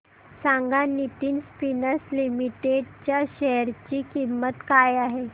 सांगा Nitin spinners limited च्या share ची किंमत काय आहे